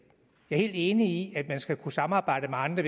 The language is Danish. jeg er helt enig i at man skal kunne samarbejde med andre